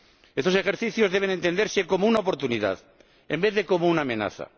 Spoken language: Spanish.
Estos ejercicios deben entenderse como una oportunidad en vez de como una amenaza.